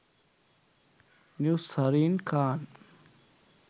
new zarine khan